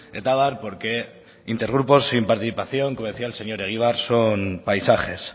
eta abar porque inter grupos sin participación como decía el señor egibar son paisajes